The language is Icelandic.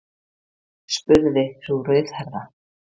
spurði sú rauðhærða.